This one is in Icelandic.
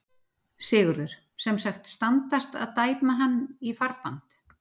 Sigurður: Sem sagt, standast að dæma hann í farbann?